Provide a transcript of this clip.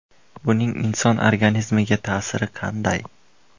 Buning inson organizmiga ta’siri qanday?